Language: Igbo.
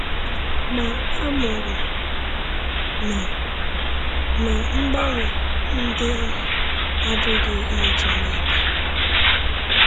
Ma amụrụ m na na mgbanwe ndị ahụ abụghị ihe ọjọọ niile.